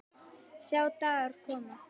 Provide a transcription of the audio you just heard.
Sjá dagar koma